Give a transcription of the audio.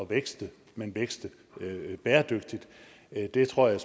vækste men vækste bæredygtigt det tror jeg